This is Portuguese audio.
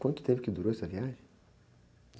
Quanto tempo que durou essa viagem?